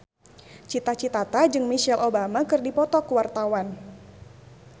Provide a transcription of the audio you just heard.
Cita Citata jeung Michelle Obama keur dipoto ku wartawan